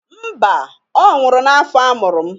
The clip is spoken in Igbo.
Mba, ọ nwụrụ n'afọ amụrụ m.